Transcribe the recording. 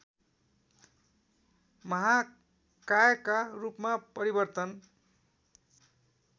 महाकायका रूपमा परिवर्तन